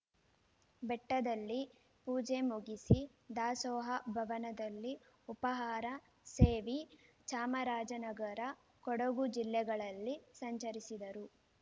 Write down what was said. ಬೆಟ್ಟದಲ್ಲಿ ಪೂಜೆ ಮುಗಿಸಿ ದಾಸೋಹ ಭವನದಲ್ಲಿ ಉಪಾಹಾರ ಸೇವಿ ಚಾಮರಾಜನಗರ ಕೊಡಗು ಜಿಲ್ಲೆಗಳಲ್ಲಿ ಸಂಚರಿಸಿದರು